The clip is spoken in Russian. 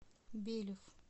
белев